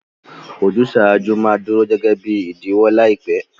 Ojúsàjú ma duro gẹgẹ bi ìdíwọ́ làìpẹ́